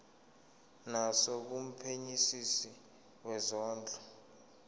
naso kumphenyisisi wezondlo